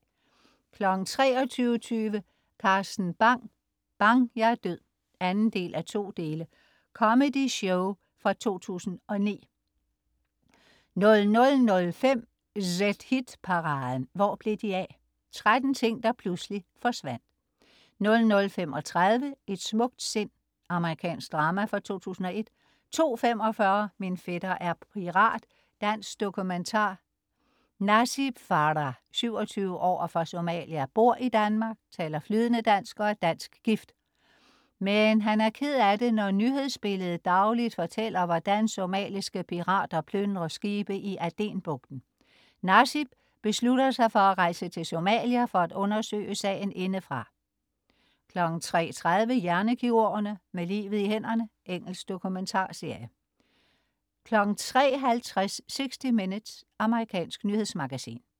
23.20 Carsten Bang. Bang! jeg er død! 2:2. Comedy-show fra 2009 00.05 ZHit-paraden. Hvor Blev De Af? 13 ting, der pludselig forsvandt 00.35 Et smukt sind. Amerikansk drama fra 2001 02.45 Min fætter er pirat. Dansk dokumentar. Dansk dokumentar. Nasib Farah, 27 år og fra Somalia, bor i Danmark, taler flydende dansk og er dansk gift. Men han er ked af det, når nyhedsbilledet dagligt fortæller, hvordan somaliske pirater plyndrer skibe i Adenbugten. Nasib beslutter sig for at rejse til Somalia for at undersøge sagen indefra 03.30 Hjernekirurgerne. Med livet i hænderne. Engelsk dokumentarserie 03.50 60 Minutes. Amerikansk nyhedsmagasin